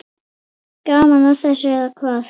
Gaman að þessu, eða hvað?